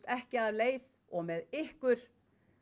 ekki af leið og með ykkur